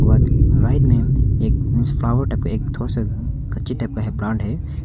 और राइट में एक मिन्स फ्लावर टाइप का एक थोड़ा सा कच्ची टाइप का है प्लांट है।